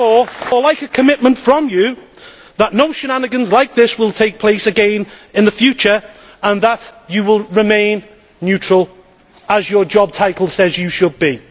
therefore like a commitment from you that no shenanigans like this will take place again in the future and that you will remain neutral, as your job title says you should be.